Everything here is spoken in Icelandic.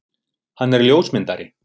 Hann er ljósmyndari.